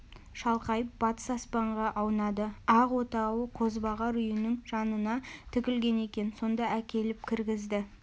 шалқайып батыс аспанға аунады ақ отауы қозбағар үйінің жанына тігілген екен сонда әкеліп кіргізді